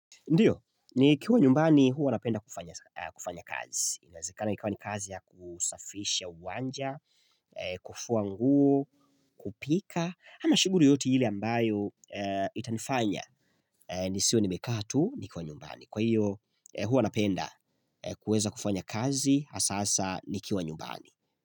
Ndiyo, nikiwa nyumbani huwa napenda kufanya kufanya kazi. Inawezekana ikawa ni kazi ya kusafisha uwanja, kufua nguo, kupika, ama shughuli yoyote ile ambayo itanifanya. Nisiwe nimekaa tu, niko nyumbani. Kwa hiyo, huwa napenda kuweza kufanya kazi, hasa hasa nikiwa nyumbani.